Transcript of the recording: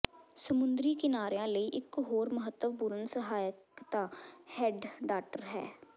ਸਮੁੰਦਰੀ ਕਿਨਾਰਿਆਂ ਲਈ ਇਕ ਹੋਰ ਮਹੱਤਵਪੂਰਣ ਸਹਾਇਕਤਾ ਹੈਡਡਾਟਰ ਹੈ